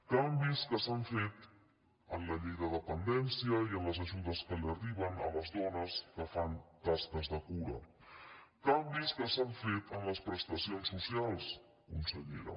canvis que s’han fet en la llei de depen·dència i en les ajudes que arriben a les dones que fan tasques de cura canvis que s’han fet en les prestacions socials consellera